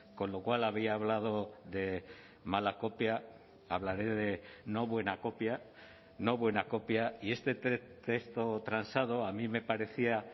con lo cual había hablado de mala copia hablaré de no buena copia no buena copia y este texto transado a mí me parecía